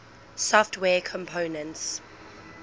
software components